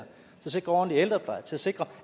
sikre ordentlig ældrepleje til at sikre